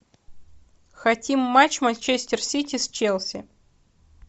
хотим матч манчестер сити с челси